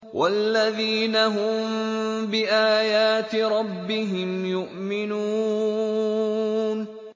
وَالَّذِينَ هُم بِآيَاتِ رَبِّهِمْ يُؤْمِنُونَ